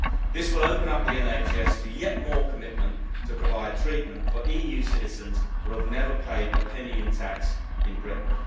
This will open up the NHS to yet more commitment to provide treatment for EU citizens who have never paid a penny in tax in Britain.